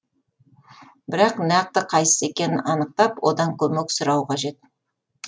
бірақ нақты қайсысы екенін анықтап одан көмек сұрау қажет